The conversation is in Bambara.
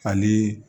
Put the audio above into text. Ani